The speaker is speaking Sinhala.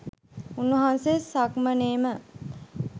උන්වහන්සේ සක්මනේ ම